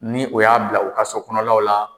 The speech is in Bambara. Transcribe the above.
Ni o y'a bila u ka so kɔnɔlaw la